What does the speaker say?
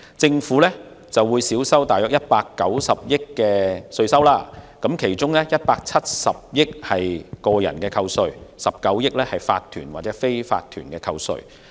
政府將因此少收約190億元的稅款，當中有170億元屬於個人扣稅 ，19 億元則屬於法團/非法團扣稅。